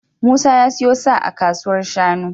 Musa ya siyo sa a kasuwar shanu.